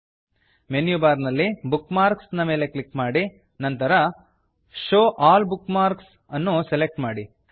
menu bar ನಲ್ಲಿ bookmarks bookmarks ನ ಮೇಲೆ ಕ್ಲಿಕ್ ಮಾಡಿ ನಂತರ show all bookmarks show all bookmarks ಅನ್ನು ಸೆಲೆಕ್ಟ್ ಮಾಡಿ